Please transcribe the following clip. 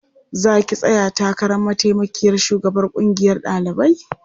Za ki tsaya takarar mataimakiyar shugabar ƙungiyar ɗalibai?